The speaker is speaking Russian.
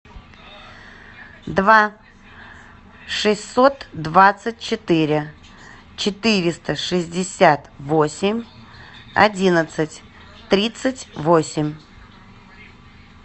два шестьсот двадцать четыре четыреста шестьдесят восемь одиннадцать тридцать восемь